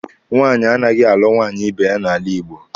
Nwaanyị anaghị alụ nwaanyị ibe ya n'ala Igbo.